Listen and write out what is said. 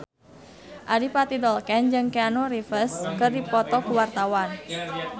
Adipati Dolken jeung Keanu Reeves keur dipoto ku wartawan